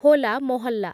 Hola Mohalla